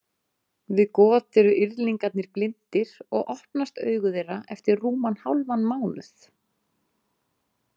Við got eru yrðlingarnir blindir og opnast augu þeirra eftir rúman hálfan mánuð.